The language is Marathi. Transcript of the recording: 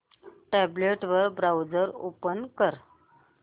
टॅब्लेट वर ब्राऊझर ओपन कर